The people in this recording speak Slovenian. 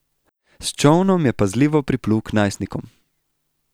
S čolnom je pazljivo priplul k najstnikom.